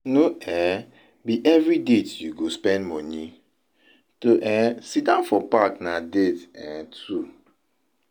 No um be every date you go spend moni, to um siddon for park na date um too.